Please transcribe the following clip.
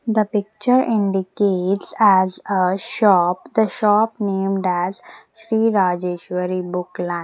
The picture indicates as a shop the shop named as Sri Rajeshwari Book la --